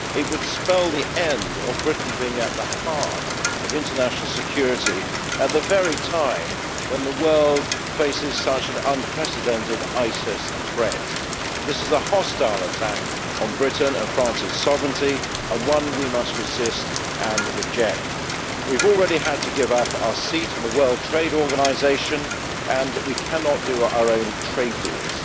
It would spell the end of Britain being at the heart of international security at the very time when the world faces such an unprecedented ISIS threat. This is a hostile attack on Britain's and France's sovereignty and one we must resist and reject. We have already had to give up our seat at the World Trade Organization, and we cannot do our own trade deals.